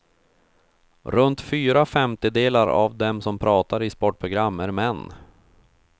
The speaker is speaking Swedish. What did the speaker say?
Runt fyra femtedelar av dem som pratar i sportprogram är män.